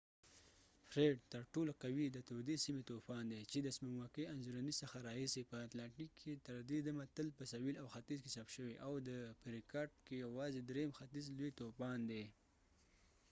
فریډ ترټولو قوي د تودې سيمې طوفان دی چې د سپوږمکۍ انځورنې څخه راهیسې په اتلانټیک کې تر دې دمه تل په سویل او ختیځ کې ثبت شوی، او د ختیځ °w۳۵ په ریکارډ کې یوازې دریم لوی طوفان دی